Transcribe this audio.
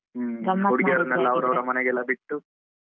ಹ್ಮ ಹುಡ್ಗೀರನ್ನೆಲ್ಲಾ ಅವರವರ ಮನೆಗೆಲ್ಲಾ ಬಿಟ್ಟು.